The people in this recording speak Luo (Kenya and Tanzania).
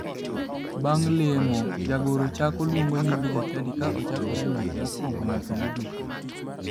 Bandg' lemo, jagoro chaako luongo nying jochadi ka ochakore e ng'ato ma okuongo nyaka mogik.